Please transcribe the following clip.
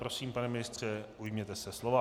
Prosím, pane ministře, ujměte se slova.